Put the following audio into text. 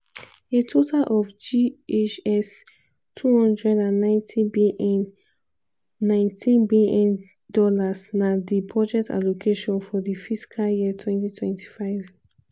a total of ghs 290bn ($19bn) na di budget allocation for di fiscal year 2025.